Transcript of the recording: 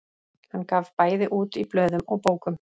Hann gaf bæði út í blöðum og bókum.